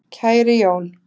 Kæri Jón